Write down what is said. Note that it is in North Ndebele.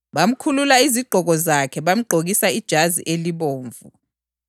Bamkhulula izigqoko zakhe bamgqokisa ijazi elibomvu,